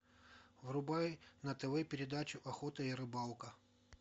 врубай на тв передачу охота и рыбалка